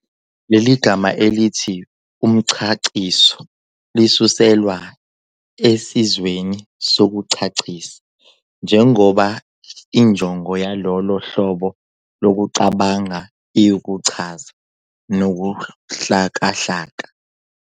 Leli gama elithi 'umchaciso' lisuselwa esenzweni sokuchachisa, njengoba injongo yalolo hlobo lokucabanga iwukuchaza nokuhlakahla.